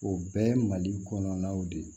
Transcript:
O bɛɛ ye mali kɔnɔnaw de ye